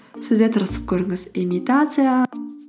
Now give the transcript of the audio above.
сіз де тырысып көріңіз имитация